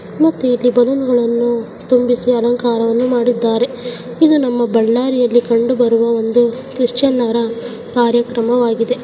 ಮತ್ತೆ ಇಲ್ಲಿ ಬಲೂನ್ಗಳನ್ನು ತುಂಬಿಸಿ ಅಲಂಕಾರವನ್ನು ಮಾಡಿದ್ದಾರೆ ಇದು ನಮ್ಮ ಬಳ್ಳಾರಿಯಲ್ಲಿ ಕಂಡು ಬರುವ ಒಂದು ಕ್ರಿಶ್ಚಿಯನ್ನರ ಕಾರ್ಯಕ್ರಮವಾಗಿದೆ.